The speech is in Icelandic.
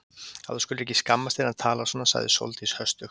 Að þú skulir ekki skammast þín að tala svona sagði Sóldís höstug.